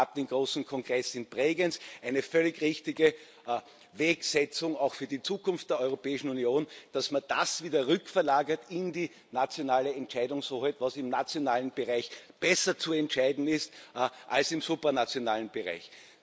Es gab den großen Kongress in Bregenz. Eine völlig richtige Wegweisung auch für die Zukunft der Europäischen Union, dass man das wieder rückverlagert in die nationale Entscheidungshoheit, was im nationalen Bereich besser zu entscheiden ist als im supranationalen Bereich.